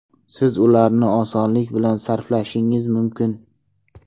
Siz ularni osonlik bilan sarflashingiz mumkin!